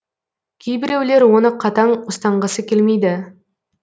кейбіреулер оны қатаң ұстанғысы келмейді